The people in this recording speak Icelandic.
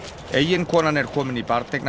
eiginkonan er komin í